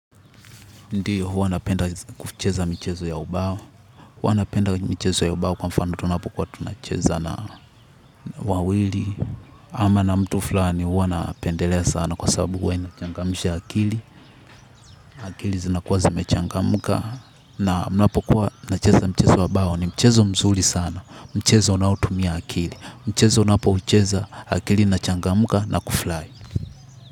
Ndiyo huwa napenda kucheza michezo ya ubao huwa napenda michezo ya ubao kwa mfano tunapokuwa tunacheza na wawili ama na mtu fulani huwa napendelea sana kwa sababu huwa inachangamsha akili akili zinakuwa zimechangamka na mnapokuwa mnacheza mchezo ambao ni mchezo mzuri sana mchezo unaotumia akili mchezo unapoucheza akili inachangamka na kufurahi.